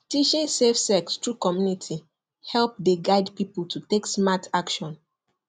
teaching safe sex through community help dey guide people to take smart action